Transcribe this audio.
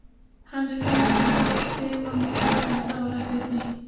Henni fannst hann of stimamjúkur en það var ekkert nýtt.